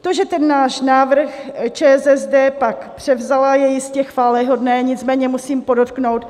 To, že ten náš návrh ČSSD pak převzala, je jistě chvályhodné, nicméně musím podotknout,